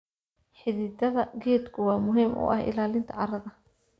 Xididada geedku waa muhiim u ah ilaalinta carrada.